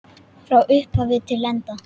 Frá upphafi til enda.